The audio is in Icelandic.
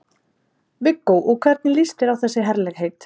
Viggó: Og hvernig líst þér á þessi herlegheit?